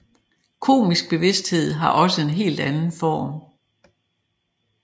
Kosmisk bevidsthed har også en helt anden form